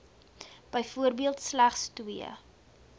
byvoorbeeld slegs twee